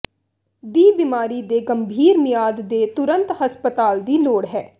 ਦੀ ਬਿਮਾਰੀ ਦੇ ਗੰਭੀਰ ਮਿਆਦ ਦੇ ਤੁਰੰਤ ਹਸਪਤਾਲ ਦੀ ਲੋੜ ਹੈ